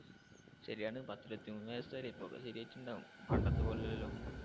ശെരിയാണ് പത്തിരുപതിമൂന്നു വയസ്സയില്ലേ ഇപ്പൊക്കെ ശെരിയായിട്ടുണ്ടാവും പണ്ടത്തെ പോലെ അല്ലാലോ.